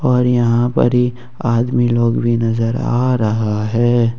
और यहां पर ही आदमी लोग भी नजर आ रहा है।